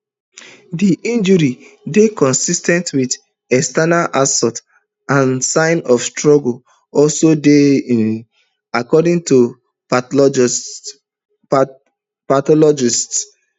di injuries dey consis ten t wit external assault and signs of struggle also dey um according to pathologists